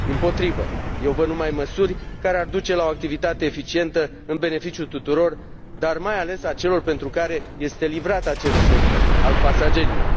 Dimpotrivă, eu văd numai măsuri care ar duce la o activitate eficientă, în beneficiul tuturor, dar mai ales al celor pentru care este livrat acest serviciu, al pasagerilor.